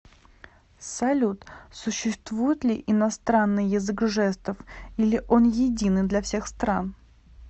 салют существует ли иностранный язык жестов или он единый для всех стран